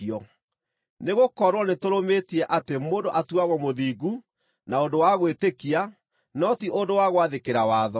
Nĩgũkorwo nĩtũrũmĩtie atĩ mũndũ atuagwo mũthingu na ũndũ wa gwĩtĩkia no ti ũndũ wa gwathĩkĩra watho.